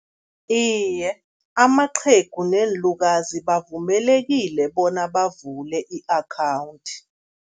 Iye, amaqhegu neenlukazi bavumelekile bona bavule i-akhawundi.